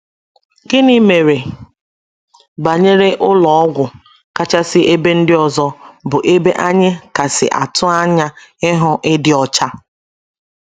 Gịnị mere banyere ụlọ ọgwụ —kachasi ebe ndi ọzọ, bụ ebe anyị kasị atụ anya ịhụ ịdị ọcha?